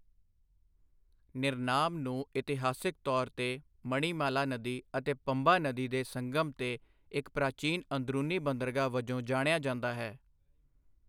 ਨਿਰਨਾਮ ਨੂੰ ਇਤਿਹਾਸਕ ਤੌਰ 'ਤੇ ਮਣੀਮਾਲਾ ਨਦੀ ਅਤੇ ਪੰਬਾ ਨਦੀ ਦੇ ਸੰਗਮ' ਤੇ ਇੱਕ ਪ੍ਰਾਚੀਨ ਅੰਦਰੂਨੀ ਬੰਦਰਗਾਹ ਵਜੋਂ ਜਾਣਿਆ ਜਾਂਦਾ ਹੈ।